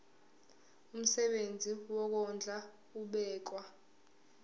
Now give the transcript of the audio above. umsebenzi wokondla ubekwa